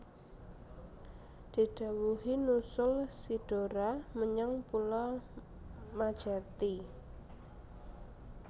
Didhawuhi nusul si Dora menyang pulo Majethi